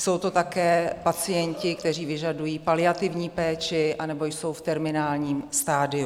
Jsou to také pacienti, kteří vyžadují paliativní péči anebo jsou v terminálním stadiu.